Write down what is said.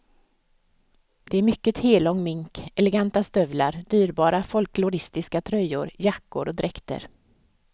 Det är mycket hellång mink, eleganta stövlar, dyrbara folkloristiska tröjor, jackor och dräkter.